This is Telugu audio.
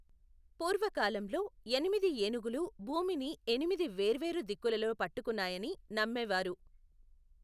పూర్వకాలంలో, ఎనిమిది ఏనుగులు భూమిని ఎనిమిది వేర్వేరు దిక్కులలో పట్టుకున్నాయని నమ్మేవారు.